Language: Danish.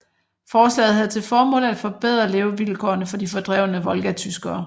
Forslaget havde til formål at forbedre levevilkårene for de fordrevne volgatyskere